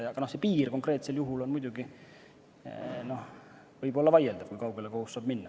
Aga see piir konkreetsel juhul võib muidugi olla vaieldav, et kui kaugele kohus saab minna.